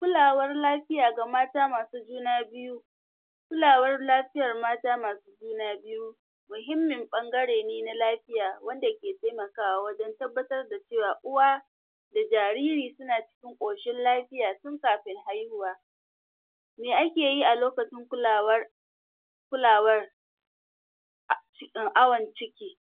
Kulawar lafiya ga mata masu juna biyu kulawar lafiyar mata masu juna biyu muhimmin ɓangare ne na lafiya wanda ke taimakawa wajan tabbatar da cewa uwa da jariri suna cikin ƙoshin lafiya tun kafin haihuwa me ake yi a lokacin kulawar kulawar awan ciki